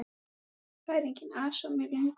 Það er enginn asi á mér lengur.